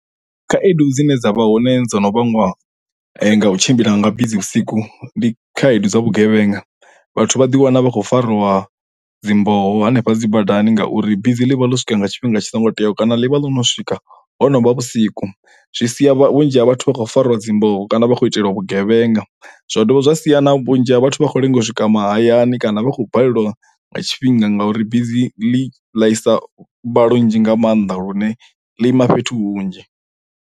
Khaedu dzine dza vha hone dzo no vhangwa nga u tshimbila nga bisi vhusiku ndi khaedu dza vhugevhenga vhathu vha ḓi wana vha khou fariwa dzi mboho hanefha dzi badani ngauri bisi ḽivha ḽo swika nga tshifhinga tshi songo teaho kana ḽivha ḽo no swika ho novha vhusiku zwi sia vhunzhi ha vhathu vha khou fariwa dzi mboho kana vha kho itelwa vhugevhenga zwa dovha zwa sia na vhunzhi ha vhathu vha khou lenga u swika mahayani kana vha khou balelwa nga tshifhinga ngauri bisi ḽi ḽaisa mbalo nnzhi nga maanḓa lune ḽi ima fhethu hunzhi.